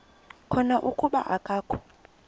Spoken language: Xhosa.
khona kuba akakho